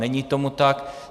Není tomu tak.